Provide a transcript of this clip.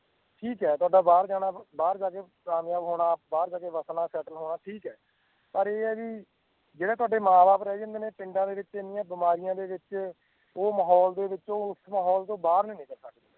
ਠੀਕ ਹੈ ਤੁਹਾਡਾ ਬਾਹਰ ਜਾਣਾ ਬਾਹਰ ਜਾ ਕੇ ਕਾਮਯਾਬ ਹੋਣਾ ਬਾਹਰ ਜਾ ਕੇ ਵਸਣਾ settle ਹੋਣਾ ਠੀਕ ਹੈ ਪਰ ਇਹ ਆ ਵੀ ਜਿਹੜਾ ਤੁਹਾਡੇ ਮਾਂ ਬਾਪ ਰਹਿ ਜਾਂਦੇ ਨੇ ਪਿੰਡਾਂ ਦੇ ਵਿੱਚ ਇੰਨੀਆਂ ਬਿਮਾਰੀਆਂ ਦੇ ਵਿੱਚ, ਉਹ ਮਾਹੌਲ ਦੇ ਵਿੱਚ ਉਸ ਮਾਹੌਲ ਤੋਂ ਬਾਹਰ ਨੀ ਨਿਕਲ ਸਕਦੇ।